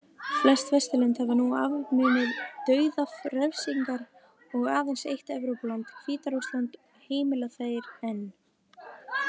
Flest Vesturlönd hafa nú afnumið dauðarefsingar og aðeins eitt Evrópuland, Hvíta-Rússland, heimilar þær enn.